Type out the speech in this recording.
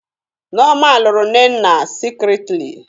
Nneoma lụrụ nnenna Secretly